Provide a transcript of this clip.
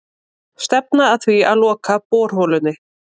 Stefna að því að loka borholunni